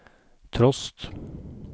trost